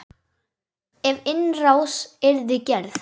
Ef innrás yrði gerð?